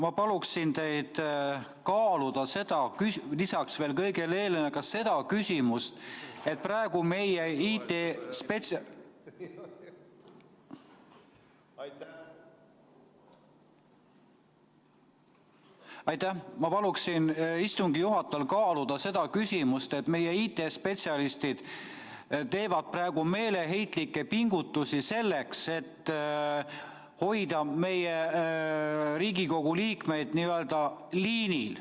Ma paluksin teid kaaluda lisaks kõigele eelnevale ka seda küsimust, et praegu meie IT-spetsialistid teevad meeleheitlikke pingutusi selleks, et hoida meie Riigikogu liikmeid n-ö liinil.